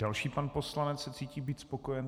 Další pan poslanec se cítí být spokojen.